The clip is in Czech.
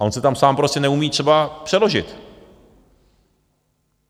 A on se tam sám prostě neumí třeba přeložit.